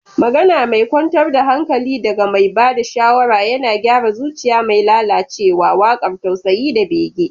Magana mai kwantar da hankali daga mai ba da shawara yana gyara zuciya mai lalacewa, waƙar tausayi da bege.